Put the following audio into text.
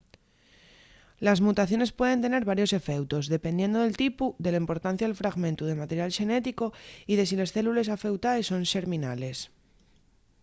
les mutaciones pueden tener varios efeutos dependiendo del tipu de la importancia del fragmentu de material xenético y de si les célules afeutaes son xerminales